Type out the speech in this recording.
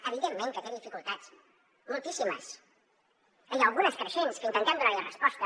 evidentment que té dificultats moltíssimes i algunes creixents que intentem donar hi resposta